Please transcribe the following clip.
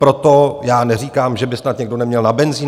Proto já neříkám, že by snad někdo neměl na benzin.